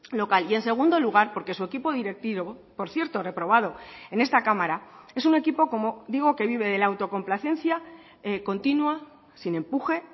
local y en segundo lugar porque su equipo directivo por cierto reprobado en esta cámara es un equipo como digo que vive de la autocomplacencia continua sin empuje